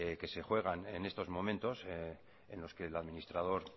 que se juegan en estos momentos en los que el administrador